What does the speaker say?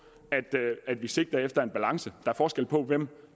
at vi sigter efter en balance er forskel på hvem